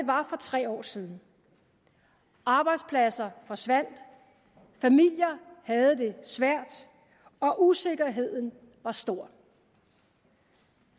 var for tre år siden arbejdspladser forsvandt familier havde det svært og usikkerheden var stor